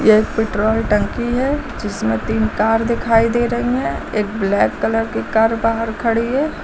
यह एक पेट्रोल टंकी है जिसमें तीन कार दिखाई दे रही हैं एक ब्लैक कलर की कार बाहर खड़ी है।